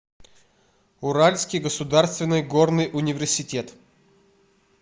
уральский государственный горный университет